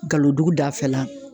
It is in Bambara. Galodugu dafɛla